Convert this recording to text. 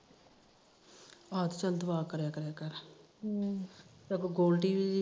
ਹਮ ਚੱਲ ਦੁਆ ਕਰਿਆ ਕਰ ਹਮ ਗੋਲਡੀ